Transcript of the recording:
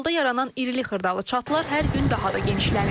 Yolda yaranan irili xırdalı çatılar hər gün daha da genişlənir.